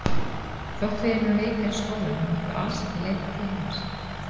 Þótt við yrðum veikar í skólanum máttum við alls ekki leita til hennar.